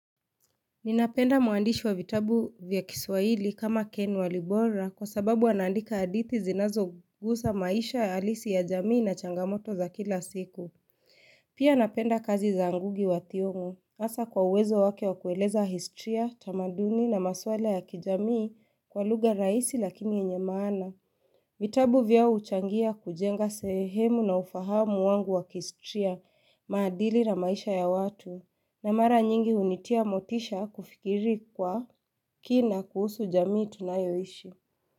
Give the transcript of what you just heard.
Ninapenda muandishi wa vitabu vya kiswaili kama Ken walibora kwa sababu anaandika hadithi zinazogusa maisha halisi ya jamii na changamoto za kila siku. Pia napenda kazi za Ngugi wa Thiong'o. Hasa kwa uwezo wake wa kueleza historiya, tamaduni na maswala ya kijamii kwa lugha rahisi lakini yenye maana. Vitabu vyao huchangia kujenga sehemu na ufahamu wangu wa kistriya, maadili na maisha ya watu. Na mara nyingi hunitia motisha kufikiri kwa kina kuhusu jamii tunayoishi.